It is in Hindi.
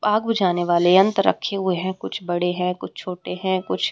आग बुझाने वाले यंत्र रखे हुए हैं कुछ बड़े है कुछ छोटे है कुछ --